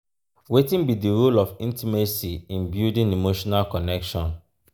wetin be di role of intimacy in building emotional connection?